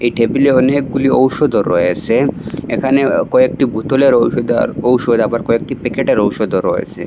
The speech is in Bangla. এই টেবিলে অনেকগুলি ঔষধও রয়েছে এখানে আঃ কয়েকটি বোতলের ঔষুধ আর ঔষধ আবার কয়েকটি প্যাকেটের ঔষুধও রয়েছে।